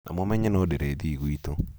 na mũmenye no ndĩrĩthiĩ gwitũ.